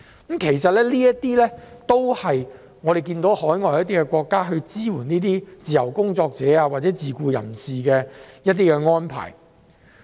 這些是我們看到海外國家支援自由工作者或自僱人士的一些安排。